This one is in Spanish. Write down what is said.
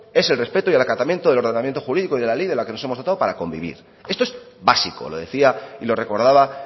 es el respeto y el acatamiento del ordenamiento jurídico y de ley de la que nos hemos dotado para convivir esto es básico lo decía y lo recordaba